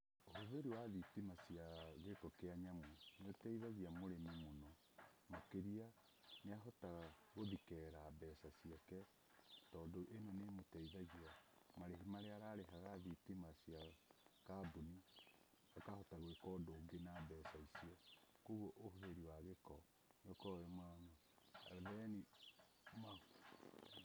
Ũhũthĩri wa thitima cia gĩko kĩa nyamũ nĩ ũteithagia mũrĩmi mũno makĩria nĩ ahotaga gũthikera mbeca ciake, tondũ ĩno nĩ ĩmũteithagia marĩhi marĩa ararĩhaga thitima cia kambuni akahota gwĩka ũndũ ũngĩ na mbeca icio, kũguo ũhũthĩri wa gĩko nĩ ũkoragwo ũrĩ mwega, na ũneani mahu-